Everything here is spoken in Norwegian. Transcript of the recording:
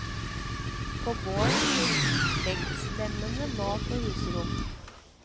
På gårdene fikk legdslemmene mat og husrom.